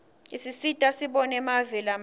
isisita sibone mave lamanye